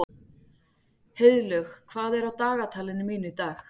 Heiðlaug, hvað er á dagatalinu mínu í dag?